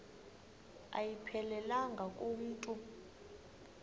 ayiphelelanga ku mntu